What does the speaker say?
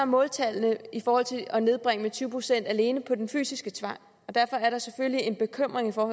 måltallene i forhold til at nedbringe det med tyve procent alene på den fysiske tvang og derfor er der selvfølgelig en bekymring for